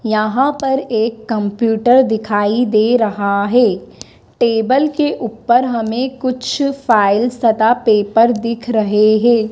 यहां पर एक कंप्यूटर दिखाई दे रहा है टेबल के ऊपर हमें कुछ फाइल सदा पेपर दिख रहे हैं।